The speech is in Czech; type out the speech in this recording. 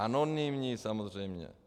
Anonymní, samozřejmě.